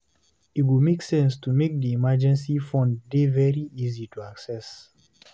E go make sense to make di emergency fund dey very easy to assess